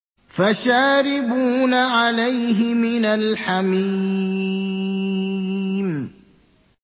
فَشَارِبُونَ عَلَيْهِ مِنَ الْحَمِيمِ